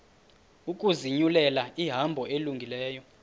ukuzinyulela ihambo elungileyo